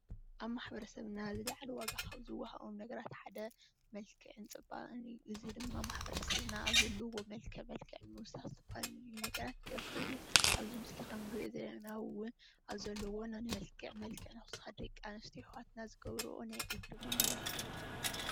ኣብ ማሕበረሰብና ዝላዓለ ዋጋ ካብ ዝወሃቦም ነገራት ሓደ መልክዕን ፅባቐን እዩ እዚ ድማ ማሕበረሰብና ኣብ ዘለዎ መልክዕ መልክዕ ንምውሳኽ ዝተፈላለዩ ነገራት ይገብር እዩ ኣብዚ ምስሊ ኻብ ንርእዮ ዘለና እውን ኣብ ዘለወን መልክዕ መልክዕ ንምውሳኽ ደቂ ኣንስትዮ ኣሕዋትና ዝገብርኦ ናይ እግሪ መመላኽዒ እዩ።